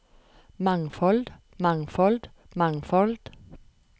mangfold mangfold mangfold